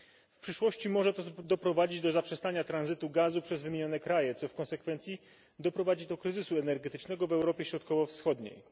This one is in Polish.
W przyszłości może to doprowadzić do zaprzestania tranzytu gazu przez wymienione kraje, co w konsekwencji spowoduje kryzys energetyczny w Europie Środkowo Wschodniej.